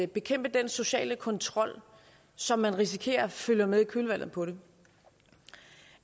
bekæmpe den sociale kontrol som man risikerer følger med i kølvandet på det